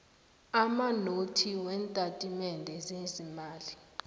amanothi weentatimende zeemali